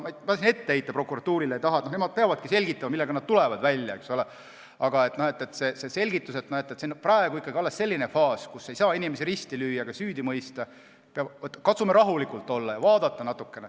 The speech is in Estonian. Ma siin midagi prokuratuurile ette heita ei taha, nemad peavadki selgitama, millega nad välja tulevad, aga see on ikkagi alles selline faas, kus ei saa inimesi risti lüüa ega süüdi mõista, tuleb katsuda rahulik olla ja vaadata.